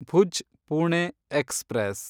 Bhuj Pune express